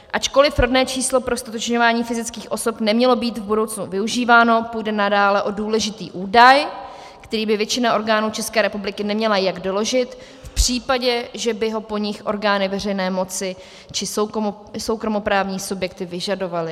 Ačkoliv rodné číslo pro ztotožňování fyzických osob nemělo být v budoucnu využíváno, půjde nadále o důležitý údaj, který by většina orgánů České republiky neměla jak doložit v případě, že by ho po nich orgány veřejné moci či soukromoprávní subjekty vyžadovaly.